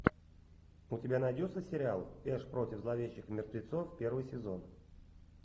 у тебя найдется сериал эш против зловещих мертвецов первый сезон